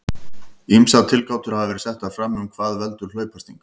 Ýmsar tilgátur hafa verið settar fram um hvað veldur hlaupasting.